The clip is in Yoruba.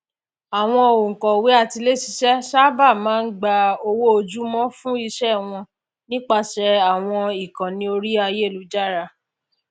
awọn ònkọwé atiléṣiṣẹ sáábà máa n gba owó ojúmọ fún iṣẹ wọn nípasẹ àwọn ìkànnì orí ayélujára